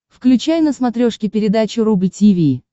включай на смотрешке передачу рубль ти ви